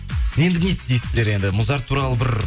енді не істейсіздер енді музарт туралы бір